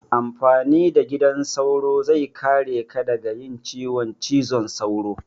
Amfani da gidan sauro zai kare ka daga yin ciwon cizon sauro.